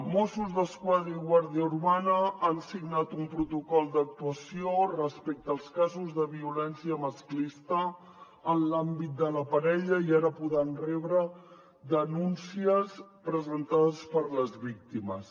mossos d’esquadra i guàrdia urbana han signat un protocol d’actuació respecte als casos de violència masclista en l’àmbit de la parella i ara podran rebre denúncies presentades per les víctimes